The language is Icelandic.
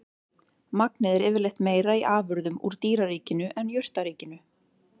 Magnið er yfirleitt meira í afurðum úr dýraríkinu en jurtaríkinu.